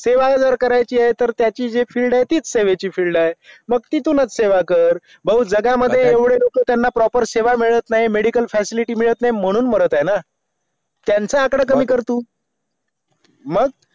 सेवा जर करायची आहे तर तिच्याच जे field आहे त्याची तीच सेवांची field आहे मंग तितुनच सेवा कर भाऊ जगा मधये एवडे लोक तेनायना proper सेवा मिळत नाही medical facility मिळत नाही म्हणून मारत आहेत ना तेंच आकडा कमी कर तू मग